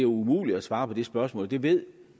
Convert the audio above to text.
umuligt at svare på det spørgsmål det ved